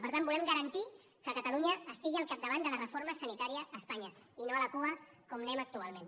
per tant volem garantir que catalunya estigui al capdavant de la reforma sanitària a espanya i no a la cua com anem actualment